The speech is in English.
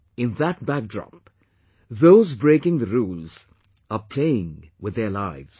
In that backdrop, those breaking the rules are playing with their lives